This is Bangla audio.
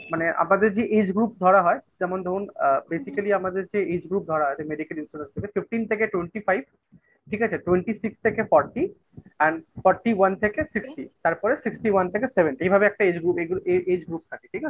মানে আমাদের যে age group ধরা হয় যেমন ধরুন আ basically আমাদের যে age group ধরা আছে Medical Insurance থেকে Fifteen থেকে Twenty five. ঠিক আছে? Twenty six থেকে Forty and Forty one থেকে Sixty তারপরে Sixty one থেকে seventy এইভাবে একটা age group থাকে, ঠিক আছে?